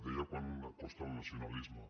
deia quant costa el nacionalisme